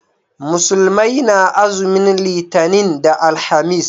Musulmai na azumin litani da alhamis